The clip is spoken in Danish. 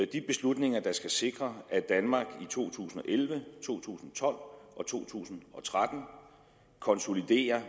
de beslutninger der skal sikre at danmark i to tusind og elleve to tusind og tolv og to tusind og tretten konsoliderer